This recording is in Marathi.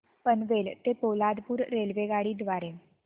पनवेल ते पोलादपूर रेल्वेगाडी द्वारे